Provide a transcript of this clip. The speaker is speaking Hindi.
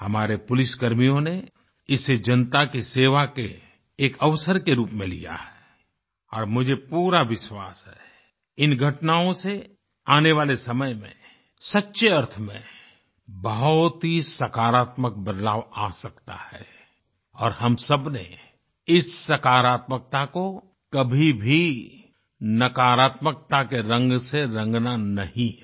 हमारे पुलिसकर्मियों ने इसे जनता की सेवा के एक अवसर के रूप में लिया है और मुझे पूरा विश्वास है इन घटनाओं से आने वाले समय में सच्चे अर्थ में बहुत ही सकारात्मक बदलाव आ सकता है और हम सबने इस सकारात्मकता को कभी भी नकारात्मकता के रंग से रंगना नहीं है